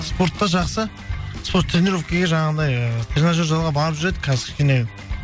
спортта жақсы сол тренировкеге жаңағындай ыыы тренажерный залға барып жүр едік қазір кішкене